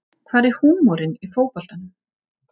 Hvar er húmorinn í fótboltanum